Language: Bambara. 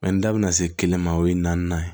Mɛ n da bɛna se kelen ma o ye naani ye